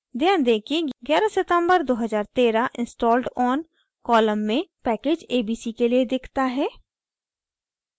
ध्यान दें कि 11 september 2013 installed on column में package abc के लिए दिखता है